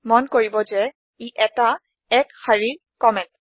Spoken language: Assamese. মন কৰিব ই ১টা এক শাৰীৰ কম্মেন্ট